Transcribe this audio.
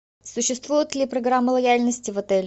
существует ли программа лояльности в отеле